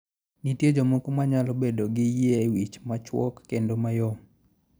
Nitie jomoko manyalo bedo gi yie wich machuok kendo mayom.